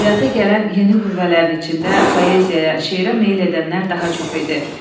Ədəbiyyata gələn yeni qüvvələrin içində poeziyaya, şeirə meyl edənlər daha çox idi.